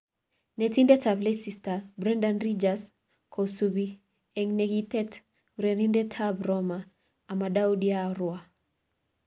(Football Insider) Netindet ab Leicester Brendan Ridgers kosubi eng negitet urerenindet ab Roma Amadou Diawara.